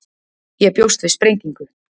Ég bjóst við sprengingu.